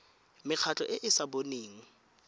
mekgatlho e e sa boneng